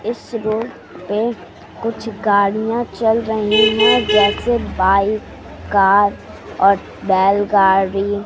इस रोड पे कुछ गाड़ियां चल रही हैं जैसे बाइक कार और बैलगाड़ी।